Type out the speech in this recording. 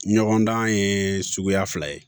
Ɲɔgɔndan ye suguya fila ye